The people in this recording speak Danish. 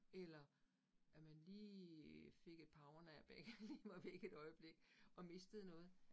Eller at man lige fik et powernap ik lige var væk et øjeblik og mistede noget